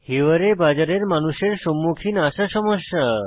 হিওয়ারে বাজার এর মানুষের সম্মুখীন আসা সমস্যা